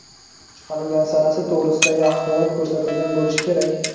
chiqarilgan sanasi to‘g‘risidagi axborot ko‘rsatilgan bo‘lishi kerak.